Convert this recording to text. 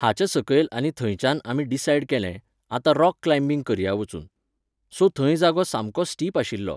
हाच्या सकयल आनी थंयच्यान आमी डिसायड केलें, आतां रॉक क्लायम्बिंग करया वचून. सो थंय जागो सामको स्टीप आशिल्लो